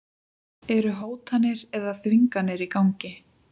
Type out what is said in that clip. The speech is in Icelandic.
Eru hótanir eða þvinganir í gangi?